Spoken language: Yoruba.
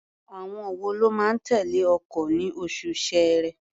Àwọn wo ló máa tẹ̀lé ọkọ̀ ní oṣù Ṣẹẹrẹ?